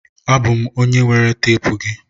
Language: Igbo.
Abụ m onye were teepu gị.